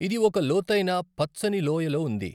ఇది ఒక లోతైన పచ్చని లోయలో ఉంది.